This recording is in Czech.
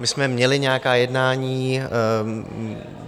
My jsme měli nějaká jednání.